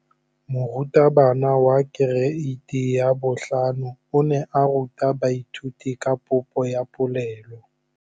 Moratabana wa kereiti ya 5 o ne a ruta baithuti ka popô ya polelô.